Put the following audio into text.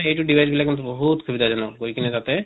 এইটো device বিলাক কিন্তু বহুত সুবিধা জনক গৈ কিনে তাতে